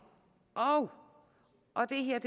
og det her er